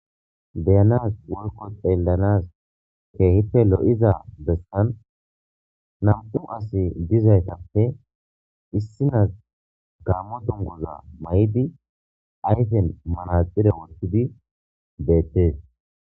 Be'anaasi woykko xeellanaas keehippe lo'iza bessan nam'u adde dizayssappe issinozi gaammo dunguza mayod ayfen manaxire woththidi beettes.